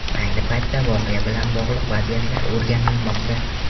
Ayni paytda voqea bilan bog‘liq vaziyatlar o‘rganilmoqda.